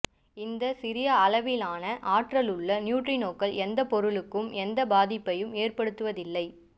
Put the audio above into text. இந்த சிறிய அளவிலான ஆற்றலுள்ள நியூட்ரினோக்கள் எந்தப் பொருளுக்கும் எந்த பாதிப்பையும் ஏற்படுத்துவதில்லை